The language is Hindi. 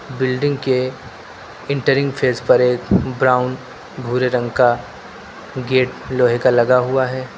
बिल्डिंग के एंटरिंग फेस पर एक ब्राउन भूरे रंग का गेट लोहे का लगा हुआ है।